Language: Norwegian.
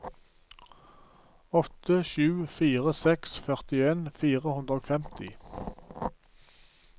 åtte sju fire seks førtien fire hundre og femti